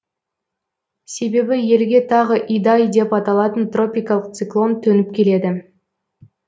себебі елге тағы идай деп аталатын тропикалық циклон төніп келеді